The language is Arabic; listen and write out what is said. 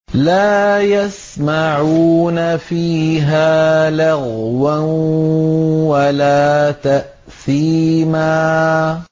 لَا يَسْمَعُونَ فِيهَا لَغْوًا وَلَا تَأْثِيمًا